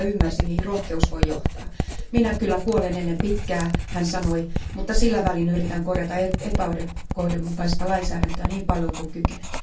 Hän kyllä ymmärsi, mihin rohkeus voi johtaa. Minä kyllä kuolen ennen pitkää, hän sanoi, mutta sillä välin yritän korjata epäoikeudenmukaista lainsäädäntöä niin paljon kuin kykenen.